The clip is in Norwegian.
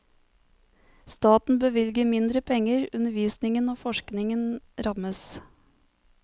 Staten bevilger mindre penger, undervisningen og forskningen rammes.